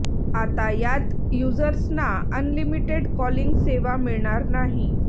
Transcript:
आता यात युजर्संना अनलिमिटेड कॉलिंग सेवा मिळणार नाही